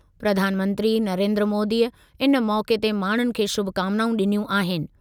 प्रधानमंत्री नरेन्द्र मोदीअ इन मौक़े ते माण्हुनि खे शुभकामिनाऊं ॾिनियूं आहिनि।